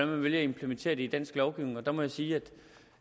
man vil implementere det i dansk lovgivning og der må jeg sige